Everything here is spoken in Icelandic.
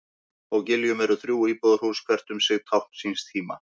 Á Giljum eru þrjú íbúðarhús, hvert um sig tákn síns tíma.